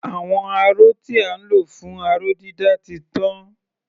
Àwọn aró tí à ń lò fún aró-dídà ti tán.